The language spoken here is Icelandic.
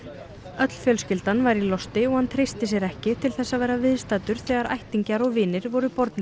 öll fjölskyldan væri í losti og hann treysti sér ekki til þess að vera viðstaddur þegar ættingjar og vinir voru bornir